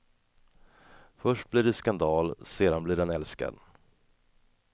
Först blir det skandal, sedan blir han älskad.